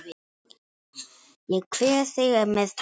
Ég kveð þig með tárum.